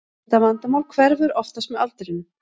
Þetta vandamál hverfur oftast með aldrinum.